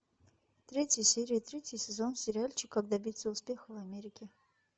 третья серия третий сезон сериальчик как добиться успеха в америке